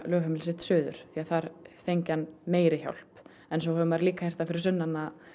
lögheimili sitt suður því þar fengi hann meiri hjálp en svo hefur maður líka heyrt það fyrir sunnan